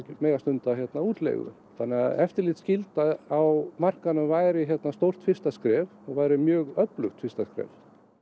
mega stunda útleigu þannig að eftirlitsskylda á markaði væri stórt fyrsta skref og væri mjög öflugt fyrsta skref